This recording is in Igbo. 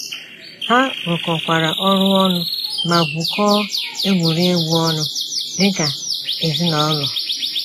Ha rụkọkwara ọrụ ọnụ ma gwukọọ egwuregwu ọnụ dị ka ezinaụlọ.